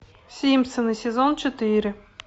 симпсоны сезон четыре